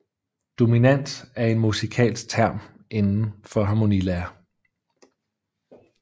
Dominant er en musikalsk term inden for harmonilære